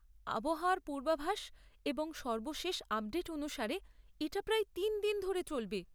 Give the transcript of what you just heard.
আবহাওয়ার পূর্বাভাস এবং সর্বশেষ আপডেট অনুসারে, এটা প্রায় তিন দিন ধরে চলবে।